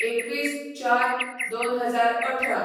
२१/०४/२०१८